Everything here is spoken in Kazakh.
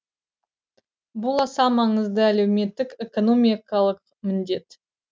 бұл аса маңызды әлеуметтік экономикалық міндет